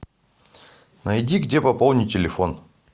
найди где пополнить телефон